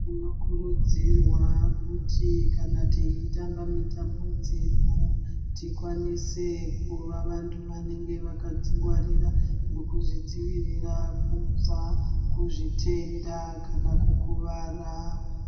Tinokurudzirwa kuti kana teitamba mitambo dzedu tikwanise kuva vantu vanenge vakadzingwarira nekuzvidzivitira kubva kuzvitenda kana kukuvara.